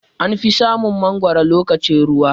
Anfi samun mangwaro lokacin ruwa.